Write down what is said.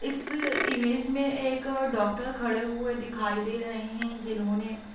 इस इमेज में एक डॉक्टर खड़े हुए दिखाई दे रहे हैं जिन्होंने --